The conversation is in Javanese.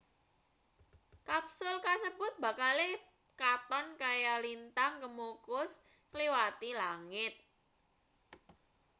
kapsul kasebut bakale katon kaya lintang kemukus ngliwati langit